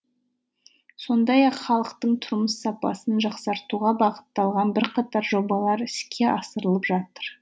сондай ақ халықтың тұрмыс сапасын жақсартуға бағытталған бірқатар жобалар іске асырылып жатыр